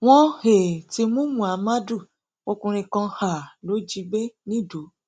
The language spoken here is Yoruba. wọn um ti mú muhammadu ọkùnrin kan um lọ jí gbé nìdọ